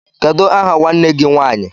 Kedụ aha nwanne gị nwanyị?